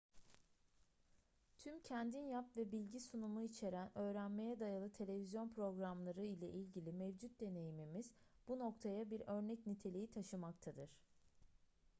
tüm kendin yap ve bilgi sunumu içeren öğrenmeye dayalı televizyon programları ile ilgili mevcut deneyimimiz bu noktaya bir örnek niteliği taşımaktadır